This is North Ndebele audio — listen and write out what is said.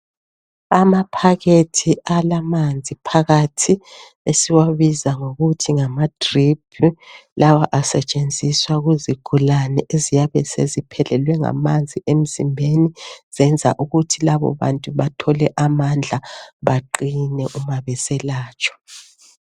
Amaphakhethi alamanzi phakathi esiwabiza ngokuthi ngamadriphi lawo asetshenziswa kuzigulane eziyabeseziphelelwe ngamanzi emzimbeni ukwenzela ukuthi labo bantu bathole amandla baqine mabeselatshwa.